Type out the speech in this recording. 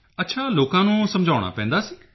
ਅੱਛਾ ਲੋਕਾਂ ਨੂੰ ਸਮਝਾਉਣਾ ਪੈਂਦਾ ਸੀ